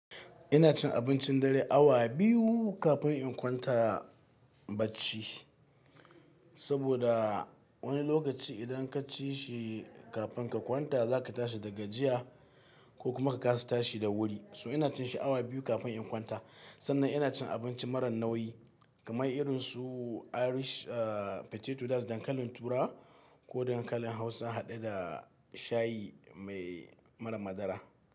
Ina cin abincin dare awa biyu kafin in kwanta bacci saboda wani lokaci idan ka ci shi kafin ka kwanta za ka tashi da gajiya ko kuma ka kasa tashi da wuri. So ina cin shi awa biyu kafin in kwanta. Sannan ina cin abinci marar nauyi kamar irinsu Irish potato that dankalin turawa ko dankalin Hausa haɗe da shayi mai marar madara.